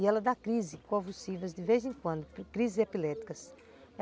E ela dá crises convulsivas de vez em quando, crises epiléticas.